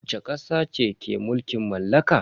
Wacce kasa ce ke mulkin mallaka?